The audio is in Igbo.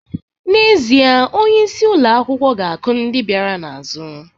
N'ezie, onyeisi ụlọ akwụkwọ ga-akụ ndị bịara n'azụ